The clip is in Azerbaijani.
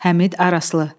Həmid, Araslı.